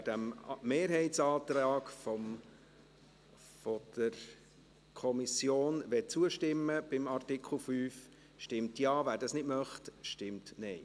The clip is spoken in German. Wer diesem Mehrheitsantrag der Kommission zustimmen will, stimmt Ja, wer das nicht möchte, stimmt Nein.